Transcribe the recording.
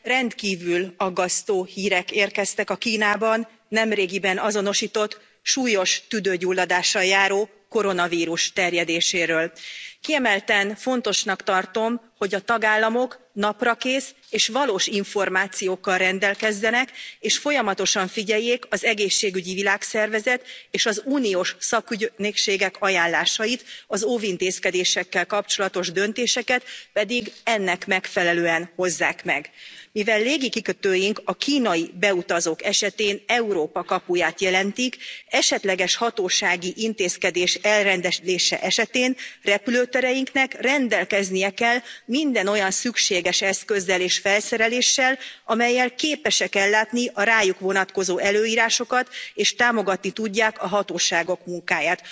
Tisztelt Elnök úr! Tisztelt Biztos Asszony! Az utóbbi hetekben rendkívül aggasztó hírek érkeztek a Kínában nemrégiben azonosított súlyos tüdőgyulladással járó koronavírus terjedéséről. Kiemelten fontosnak tartom, hogy a tagállamok naprakész és valós információkkal rendelkezzenek, és folyamatosan figyeljék az Egészségügyi Világszervezet és az uniós szakügynökségek ajánlásait, az óvintézkedésekkel kapcsolatos döntéseket pedig ennek megfelelően hozzák meg. Mivel légikikötőink a kínai beutazók esetén Európa kapuját jelentik, esetleges hatósági intézkedés elrendelése esetén repülőtereinknek rendelkeznie kell minden olyan szükséges eszközzel és felszereléssel, amellyel képesek ellátni a rájuk vonatkozó előírásokat, és támogatni tudják a hatóságok munkáját.